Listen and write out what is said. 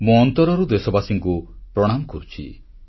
ମୁଁ ଅନ୍ତରରୁ ଦେଶବାସୀଙ୍କୁ ପ୍ରଣାମ କରୁଛି